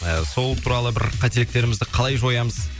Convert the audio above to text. ы сол туралы бір қателіктерімізді қалай жоямыз